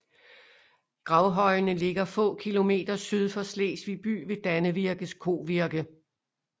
Gravhøjene ligger få kilometer syd for Slesvig by ved Dannevirkes Kovirke